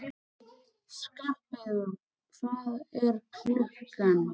Skarpheiður, hvað er klukkan?